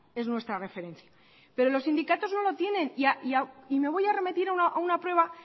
es nuestra referencia pero los sindicatos no lo tienen y me voy a remitir a una prueba